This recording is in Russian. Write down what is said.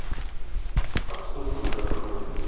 отступник открой